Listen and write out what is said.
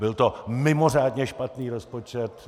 Byl to mimořádně špatný rozpočet!